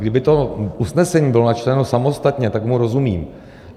Kdyby to usnesení bylo načteno samostatně, tak mu rozumím.